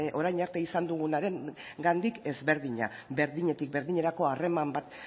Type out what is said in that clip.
orain arte izan dugunarengandik ezberdina berdinetik berdinerako harreman bat